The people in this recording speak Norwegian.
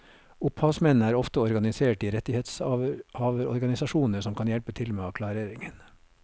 Opphavsmennene er ofte organisert i rettighetshaverorganisasjoner som kan hjelpe til med klareringen.